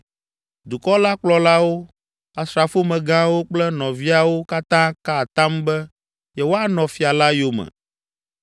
Dukɔ la kplɔlawo, asrafomegãwo kple nɔviawo katã ka atam be yewoanɔ fia la yome.